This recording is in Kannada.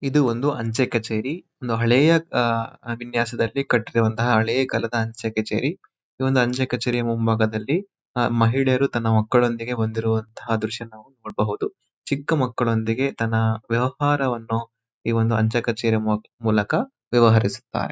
ಇದು ಒಂದು ಅಂಚೆ ಕಚೇರಿ ಒಂದು ಹಳೆಯ ಆ ವಿನ್ಯಾಸದಲ್ಲಿ ಕಟ್ಟಿರುವಂತಹ ಹಳೆ ಕಾಲದ ಅಂಚೆ ಕಚೇರಿ ಈ ಒಂದು ಅಂಚೆ ಕಚೇರಿಯ ಮುಂಭಾಗದಲ್ಲಿ ಆ ಮಹಿಳೆಯರು ತಮ್ಮ ಮಕ್ಕಳೊಂದಿಗೆ ಬಂದಿರುವಂತಹ ದೃಶ್ಯವನ್ನು ನಾವು ನೋಡಬಹುದು ಚಿಕ್ಕ ಮಕ್ಕಳೊಂದಿಗೆ ತನ್ನ ವ್ಯಾಪಾರವನ್ನು ಈ ಒಂದು ಅಂಚೆ ಕಚೇರಿ ಮೂಲಕ ವ್ಯವಹರಿಸುತ್ತಾರೆ.